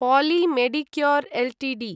poli Medicure Ltd